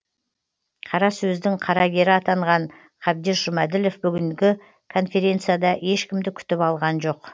қарасөздің қарагері атанған қабдеш жұмаділов бүгінгі конференцияда ешкімді күтіп алған жоқ